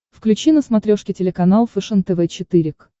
включи на смотрешке телеканал фэшен тв четыре к